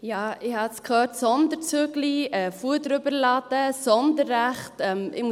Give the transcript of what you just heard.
Ich habe jetzt «Sonderzug», «Fuder überladen», «Sonderrechte» gehört.